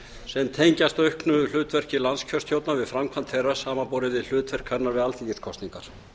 sem tengjast auknu hlutverki landskjörstjórnar við framkvæmd þeirra samanborið við hlutverk hennar við alþingiskosningar